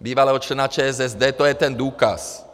bývalého člena ČSSD, to je ten důkaz.